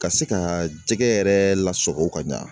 Ka se ka jɛgɛ yɛrɛ lasago ka ɲa.